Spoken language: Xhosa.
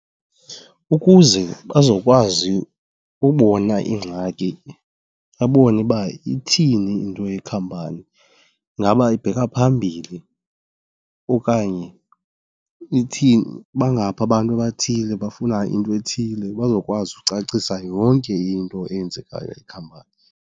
Ukuze bazokwazi ubona iingxaki, babone uba ithini into yekhampani. Ingaba ibheka phambili okanye ithini? Bangaphi abantu abathile abafuna into ethile? Bazokwazi ucacisa yonke into eyenzekayo ekhampanini.